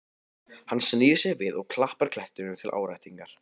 Hann snýr sér við og klappar klettinum til áréttingar.